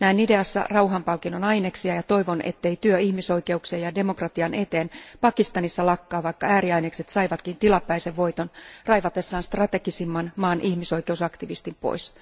Näin ideassa rauhanpalkinnon aineksia ja toivon, ettei työ ihmisoikeuksien ja demokratian eteen Pakistanissa lakkaa, vaikka ääriainekset saivatkin tilapäisen voiton raivatessaan maan strategisimman ihmisoikeusaktivistin pois.